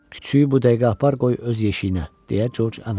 Küçüyü bu dəqiqə apar qoy öz yeşiyinə, deyə Corc əmr elədi.